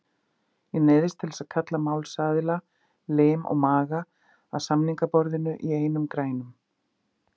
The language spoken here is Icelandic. Ég neyðist til að kalla málsaðila, lim og maga, að samningaborðinu í einum grænum.